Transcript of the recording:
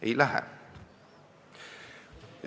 Ei lähe.